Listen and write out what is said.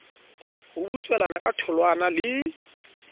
a butswelana ka tholwana le